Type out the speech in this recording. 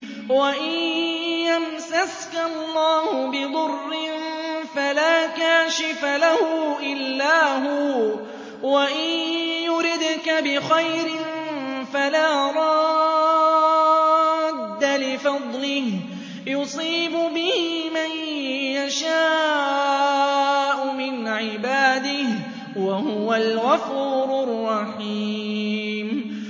وَإِن يَمْسَسْكَ اللَّهُ بِضُرٍّ فَلَا كَاشِفَ لَهُ إِلَّا هُوَ ۖ وَإِن يُرِدْكَ بِخَيْرٍ فَلَا رَادَّ لِفَضْلِهِ ۚ يُصِيبُ بِهِ مَن يَشَاءُ مِنْ عِبَادِهِ ۚ وَهُوَ الْغَفُورُ الرَّحِيمُ